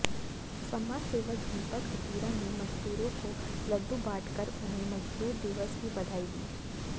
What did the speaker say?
समाज सेवक दीपक हथीरा ने मजदूरों को लड्डू बांटकर उन्हें मजदूर दिवस की बधाई दी